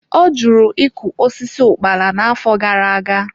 Ọ jụrụ ịkụ osisi ukpala n'afọ gara aga.